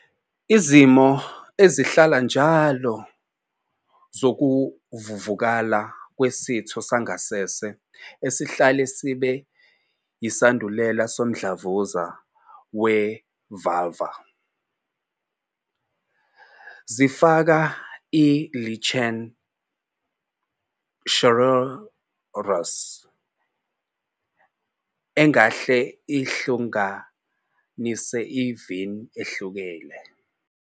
Izimo ezihlala njalo zokuvuvukala kwesitho sangasese esingahle sibe yisandulela somdlavuza we-vulvar zifaka i- lichen sclerosus, engahle ihlukanise i-VIN ehlukile.